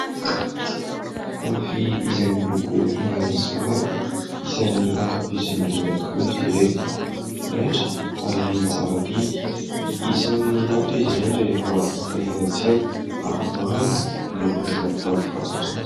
Fitafy izay miloko manga sy mavo, isan'ny ankafizin'ny olona tokoa izy ireny. Raitra ary tsara didy. Isan'ny lafo izy ireny rehefa hita eny an-tsena ary maro ny olona izay mitady fatratra azy.